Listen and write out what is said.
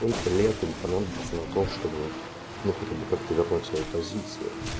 сколько лет им понадобится на то чтобы ну хотя бы как-то вернуть свои позиции